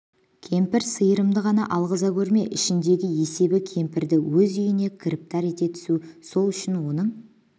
кемпір сиырымды ғана алғыза көрме ішіндегі есебі кемпірді өз үйіне кіріптар ете түсу сол үшін оның